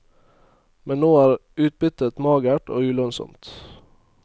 Men nå er utbyttet magert og ulønnsomt.